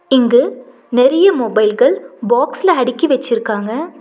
இங்கு நெறைய மொபைல்கள் பாக்ஸ்ல அடுக்கி வெச்சுருக்காங்க.